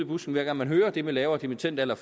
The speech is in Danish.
busken hver gang man hører det med lavere dimittendalder